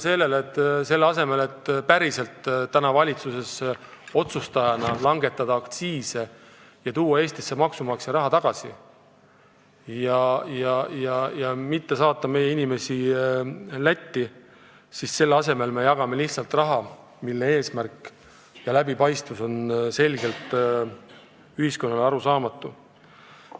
Seega selle asemel, et valitsuses otsustajana langetada aktsiise ja tuua Eestisse maksumaksja raha tagasi ja mitte suunata meie inimesi Lätti ostma, me jagame lihtsalt raha, mille eesmärk pole ühiskonnale selge.